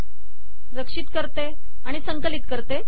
रक्षित करते संकलित करते